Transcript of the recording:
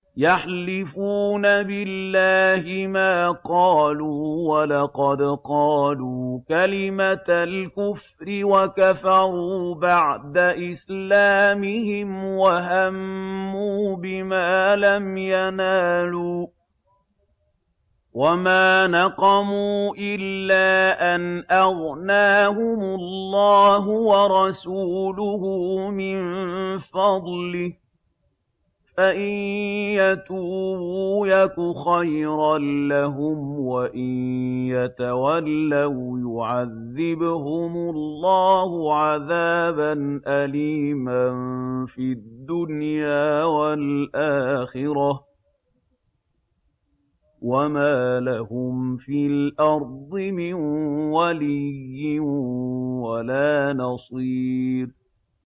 يَحْلِفُونَ بِاللَّهِ مَا قَالُوا وَلَقَدْ قَالُوا كَلِمَةَ الْكُفْرِ وَكَفَرُوا بَعْدَ إِسْلَامِهِمْ وَهَمُّوا بِمَا لَمْ يَنَالُوا ۚ وَمَا نَقَمُوا إِلَّا أَنْ أَغْنَاهُمُ اللَّهُ وَرَسُولُهُ مِن فَضْلِهِ ۚ فَإِن يَتُوبُوا يَكُ خَيْرًا لَّهُمْ ۖ وَإِن يَتَوَلَّوْا يُعَذِّبْهُمُ اللَّهُ عَذَابًا أَلِيمًا فِي الدُّنْيَا وَالْآخِرَةِ ۚ وَمَا لَهُمْ فِي الْأَرْضِ مِن وَلِيٍّ وَلَا نَصِيرٍ